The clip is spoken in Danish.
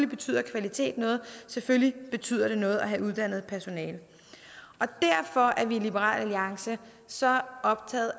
betyder kvalitet noget selvfølgelig betyder det noget at have uddannet personale derfor er vi i liberal alliance så optaget